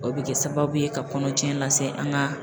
O bɛ kɛ sababu ye ka kɔnɔcɛn lase an ka